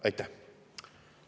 Aitäh!